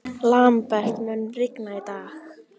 Lambert, mun rigna í dag?